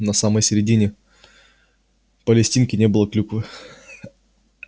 на самой середине палестинки не было клюквы